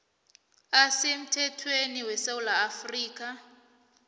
asemthethweni wesewula afrika